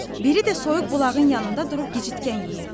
Biri də soyuq bulağın yanında durub gicitkən yeyirdi.